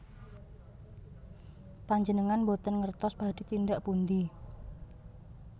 Panjenengan boten mangertos badhé tindak pundi